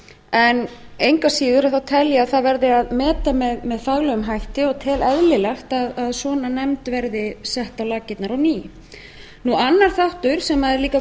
en engu að síður tel ég að það verði að meta með faglegum hætti og tel eðlilegt að svona nefnd verði sett á laggirnar á ný annar þáttur sem er líka